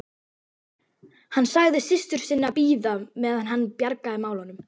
Hann sagði systur sinni að bíða meðan hann bjargaði málunum.